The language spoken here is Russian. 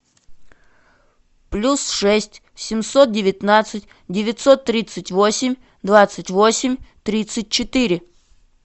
плюс шесть семьсот девятнадцать девятьсот тридцать восемь двадцать восемь тридцать четыре